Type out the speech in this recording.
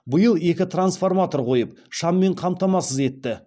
биыл екі трансформатор қойып шаммен қамтамасыз етті